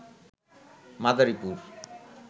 Madaripur